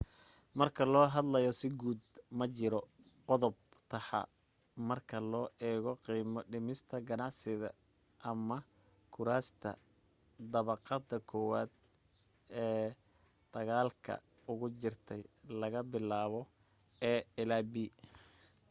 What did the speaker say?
marka loo hadlo si guud, ma jiro qodob taxaa marka loo eego qiimo dhimista ganacsiyada ama kuraasta dabaqada kowaad ee dagaalka ugu jirtay laga bilaabo a ilaa b